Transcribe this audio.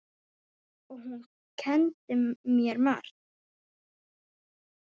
Og hún kenndi mér margt.